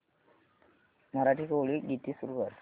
मराठी कोळी गीते सुरू कर